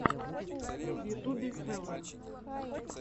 в ютубе хэллоувин